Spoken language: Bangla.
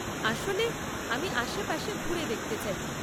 আসলে, আমি আশেপাশে ঘুরে দেখতে চাই।